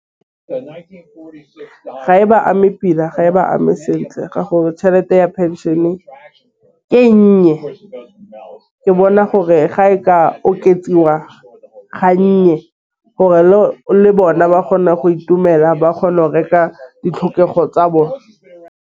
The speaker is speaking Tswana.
Ga e ba ame pila ga e ba ame sentle ga gore tšhelete ya pension e nnye go bona gore ga e ka oketswa ga nnye gore le bona ba kgone go itumela ba kgone go reka ditlhokego tsa bone.